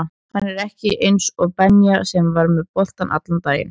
Hann er ekki eins og Benja sem er með boltann allan daginn